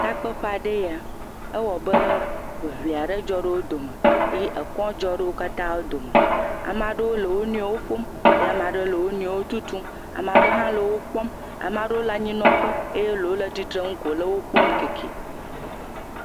Takpeƒe aɖee ya. Ewɔ abe ŋiŋli aɖe dzɔ ɖe wo dome. Eye ekɔ dzɔ ɖe wo katã wo dome. Amaa ɖewo le wo nɔewo ƒom eye amaa ɖewo le wo nɔewo tutum. Amaa ɖe hã le wokpɔm. ama lewo le anyinɔƒe eye ɖewo le tsitrenu ko le wopkɔm kɛkɛ.